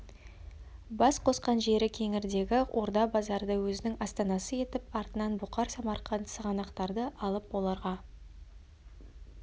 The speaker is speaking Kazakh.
бас қосқан жері кеңгірдегі орда базарды өзінің астанасы етіп артынан бұқар самарқант сығанақтарды алып оларға